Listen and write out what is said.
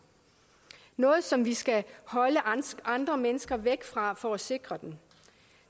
noget som vi skal holde andre mennesker væk fra for at sikre